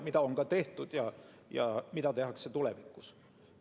Seda on ka tehtud ja tehakse tulevikus.